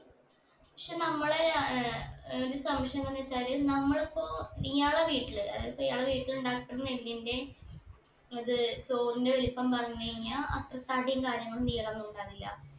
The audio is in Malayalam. പക്ഷെ നമ്മള് ഏർ ഏർ ഒരു സംശയം എന്താണ് വെച്ചാല് നമ്മളിപ്പോ ഇയാളെ വീട്ടില് ഏർ ഇപ്പൊ ഇയാളെ വീട്ടിൽ ഉണ്ടാക്കുന്ന നെല്ലിന്റെ ഇത് ചോറിന്റെ വലുപ്പം പറഞ്ഞു കഴിഞ്ഞ അത്ര തടിയും കാര്യങ്ങളും നീളൊന്നുണ്ടാവില്ല